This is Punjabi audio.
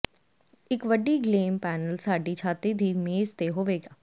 ਇੱਕ ਵੱਡੀ ਗਲੇਮ ਪੈਨਲ ਸਾਡੀ ਛਾਤੀ ਦੀ ਮੇਜ਼ ਤੇ ਹੋਵੇਗਾ